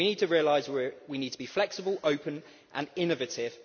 We need to realise that we need to be flexible, open and innovative.